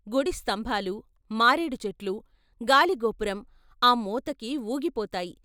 గుడి స్తంభాలు, మారేడుచెట్లు, గాలిగోపురం ఆ మోతకి వూగిపోతాయి.